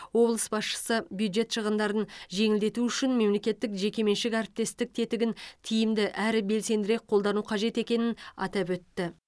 облыс басшысы бюджет шығындарын жеңілдету үшін мемлекеттік жекеменшік әріптестік тетігін тиімді әрі белсендірек қолдану қажет екенін атап өтті